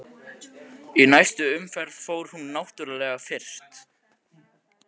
Í næstu umferð fór hún náttúrlega fyrst.